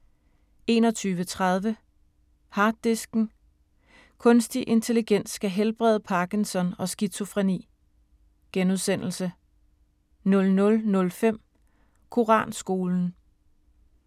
21:30: Harddisken: Kunstig intelligens skal helbrede Parkinson og skizofreni * 00:05: Koranskolen